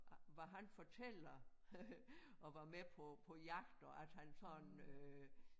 Hvad han fortæller og var med på på jagt og at han sådan øh